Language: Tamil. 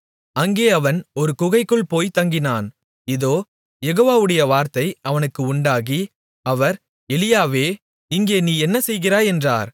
அங்கே அவன் ஒரு குகைக்குள் போய்த் தங்கினான் இதோ யெகோவாவுடைய வார்த்தை அவனுக்கு உண்டாகி அவர் எலியாவே இங்கே நீ என்ன செய்கிறாய் என்றார்